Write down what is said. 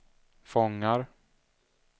fångar